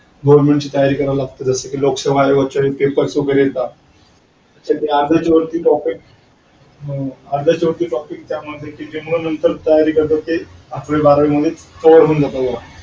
government ची तयारी करावी लागते लोकसेवा अयोगाच्या वेळी पेपर वगैरे येत अर्ध्याच्या वरती टॉपिक अर्ध्याच्या वरती टॉपिक त्यामध्ये किंवा नंतर तयारी करता तेअकरावी बारावीमध्ये कव्हर होऊन जातात.